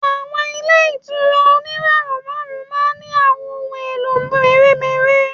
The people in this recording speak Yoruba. Àwọn ilé ìtura oníràwọ̀ márùn-ún ma ń ní àwọn ohun mèremère.